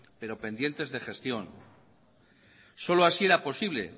pero pendientes de gestión solo así era posible